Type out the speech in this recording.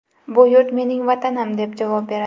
Bu yurt mening Vatanim”, deb javob beradi.